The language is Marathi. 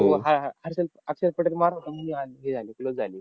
हर्षल अक्षर पटेल मारत होता, म्हणून हे झाली close झाली.